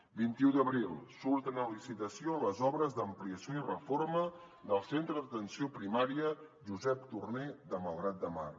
vint i u d’abril surten a licitació les obres d’ampliació i reforma del centre d’atenció primària josep torner de malgrat de mar